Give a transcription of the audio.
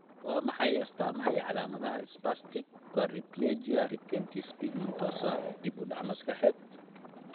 Waa maxay astamaha iyo calaamadaha Spastic quadriplegia retinitis pigmentosa dib u dhac maskaxeed?